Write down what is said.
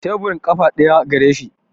Teburin ƙafa ɗaya gareshi